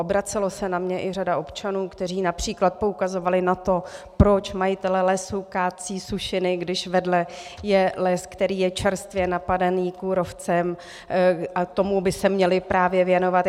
Obracela se na mě i řada občanů, kteří například poukazovali na to, proč majitelé lesů kácí sušiny, když vedle je les, který je čerstvě napadený kůrovcem, a tomu by se měli právě věnovat.